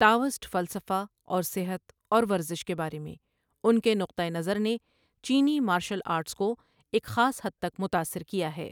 Taoist فلسفہ اور صحت اور ورزش کے بارے میں ان کے نقطہ نظر نے چینی مارشل آرٹس کو ایک خاص حد تک متاثر کیا ہے۔